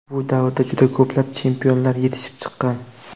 Bu davrda juda ko‘plab chempionlar yetishib chiqqan.